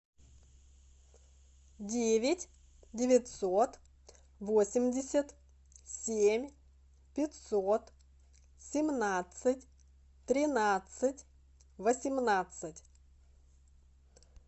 девять девятьсот восемьдесят семь пятьсот семнадцать тринадцать восемнадцать